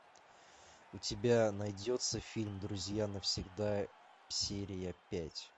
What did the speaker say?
у тебя найдется фильм друзья навсегда серия пять